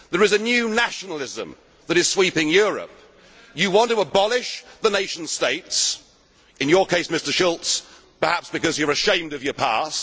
Union. There is a new nationalism that is sweeping Europe. You want to abolish the nation states, in your case, Mr Schulz, perhaps because you are ashamed of your